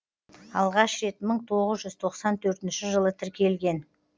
алғаш рет мың тоғыз жүз тоқсан төртінші жылы тіркелген